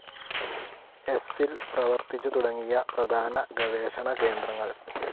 എസ്സിൽ പ്രവർത്തിച്ചു തുടങ്ങിയ പ്രധാന ഗവേഷണ കേന്ദ്രങ്ങൾ.